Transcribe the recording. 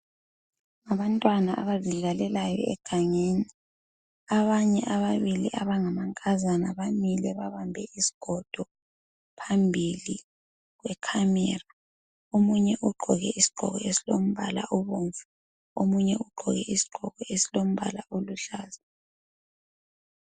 ngabantwana abazidlalelayo egangeni abanye ababili abangamankazana bamile babambe isigodo phambili kwe camera omunye ugqoke isigqoko esilombala obomvu omunye ugqoke isigqoko esilombala oluhlaza